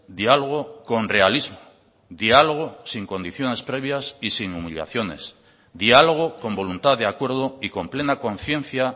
diálogo con realismo dialogo sin condiciones previas y sin humillaciones diálogo con voluntad de acuerdo y con plena conciencia